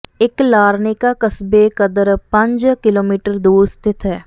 ਇੱਕ ਲਾਰ੍ਨੇਕਾ ਕਸਬੇ ਕਦਰ ਪੰਜ ਕਿਲੋਮੀਟਰ ਦੂਰ ਸਥਿਤ ਹੈ